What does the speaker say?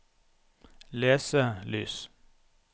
leselys